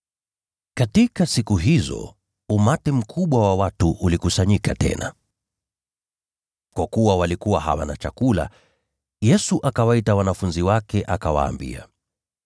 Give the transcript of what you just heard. Katika siku hizo, umati mkubwa wa watu ulikusanyika tena. Kwa kuwa walikuwa hawana chakula, Yesu akawaita wanafunzi wake akawaambia,